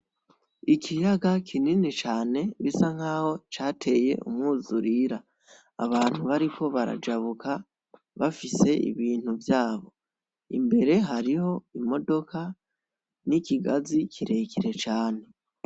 Ikiyaga kinini cane gisa nkaho cateye umw'uzurira, abantu bariko barajabuka bafise ibintu vyabo, imbere hariho imodoka n'ikigazi kirekire cane.